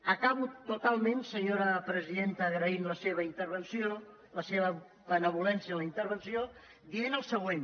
acabo totalment senyora presidenta agraint la seva benevolència en la intervenció dient el següent